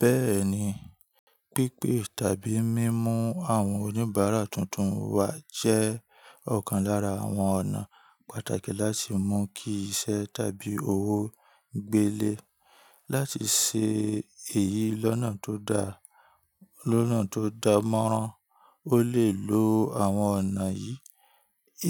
Bẹ́ẹ̀ni, pípé tàbí mímú àwọn oníbàárà tuntun wá jẹ́ ọ̀kan lára àwọn ọ̀nà pàtàkì láti mú kí iṣẹ́ tàbí òwò gbélé. Láti ṣe èyí lọ́nà tó dà, lọ́nà tó dánmọ́nrán, o lè lo àwọn ọ̀nà yìí: